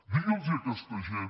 digui’ls a aquesta gent